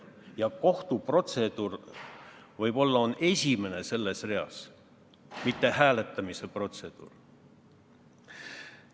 Ja kohtuprotseduur on võib-olla esimene selles reas, mitte hääletamise protseduur.